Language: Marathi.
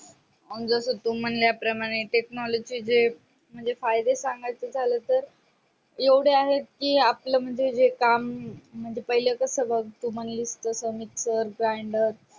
आन तू म्हणल्या प्रमाणे technology जे म्हणजे फायदे सांगायचे झाले तर एवढे आहे कि आपले म्हणजे काम हम्म म्हणजे पहिले कास ग तू मानलीस तस mixer grander